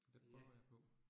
Det prøver jeg på